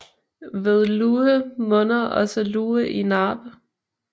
Ved Luhe munder også Luhe i Naab